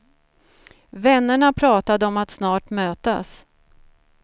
Vännerna pratade om att snart mötas.